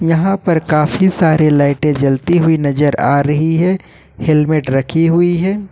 यहां पर काफी सारे लाइटे जलती हुई नजर आ रही है हेलमेट रखी हुई है।